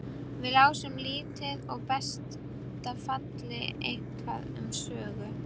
Við lásum lítið og í besta falli eitthvað um sögu.